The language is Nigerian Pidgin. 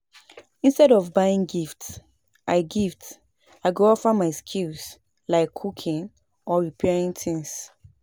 Instead of buying gift, I gift I go offer my skills like cooking or repairing things.